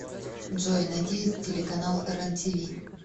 джой найти телеканал рен тиви